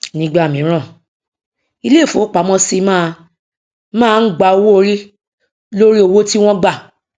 nígbà míràn ilé ìfowópamọsí má má ń gba owó orí lórí owó tí wón gbà